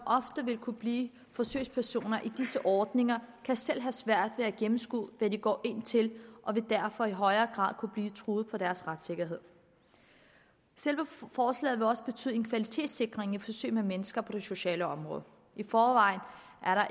ofte vil kunne blive forsøgspersoner i disse ordninger og kan selv have svært ved at gennemskue hvad de går ind til og vil derfor i højere grad kunne blive truet på deres retssikkerhed selve forslaget vil også betyde en kvalitetssikring i forsøg med mennesker på det sociale område i forvejen